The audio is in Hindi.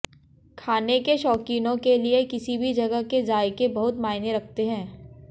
खाने के शौकीनों के लिए किसी भी जगह के जायके बहुत मायने रखते हैं